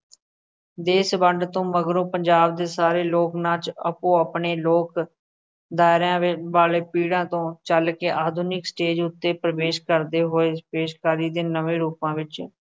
ਦੇਸ਼ ਵੰਡ ਤੋਂ ਮਗਰੋਂ ਪੰਜਾਬ ਦੇ ਸਾਰੇ ਲੋਕ ਨਾਚ ਆਪੋ ਆਪਣੇ ਲੋਕ ਦਾਇਰਿਆਂ ਵਾਲੇ ਪੀੜ੍ਹੀਆਂ ਤੋਂ ਚੱਲ ਕੇ ਆਧੁਨਿਕ ਸਟੇਜ਼ ਉੱਤੇ ਪ੍ਰਵੇਸ਼ ਕਰਦੇ ਹੋਏ ਪੇਸ਼ਕਾਰੀ ਦੇ ਨਵੇਂ ਰੂਪਾਂ ਵਿੱਚ,